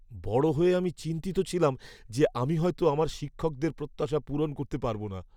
বড় হয়ে আমি চিন্তিত ছিলাম যে, আমি হয়তো আমার শিক্ষকদের প্রত্যাশা পূরণ করতে পারব না।